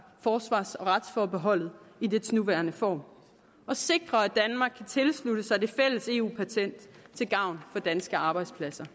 forsvars og retsforbeholdet i dets nuværende form og sikre at danmark kan tilslutte sig det fælles eu patent til gavn for danske arbejdspladser